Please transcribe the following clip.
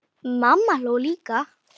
Mamma hló líka.